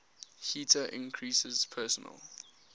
heater increases personal